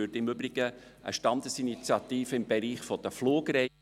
Ich würde im Übrigen eine Standesinitiative im Bereich der Fliegerei …